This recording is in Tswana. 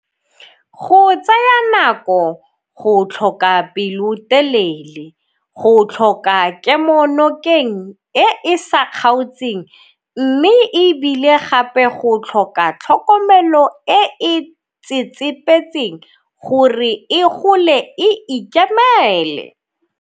Go tsaya nako, go tlhoka pelotelele, go tlhoka kemonokeng e e sa kgaotseng mme e bile gape go tlhoka tlhokomelo e e tsetsepetseng gore e gole e ikemele.